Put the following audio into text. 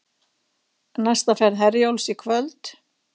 Næsta ferð Herjólfs í kvöld